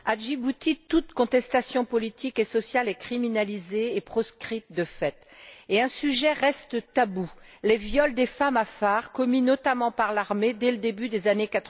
Monsieur le Président, à Djibouti, toute contestation politique et sociale est criminalisée et proscrite de fait. Un sujet reste tabou les viols des femmes afar commis, notamment, par l'armée, dès le début des années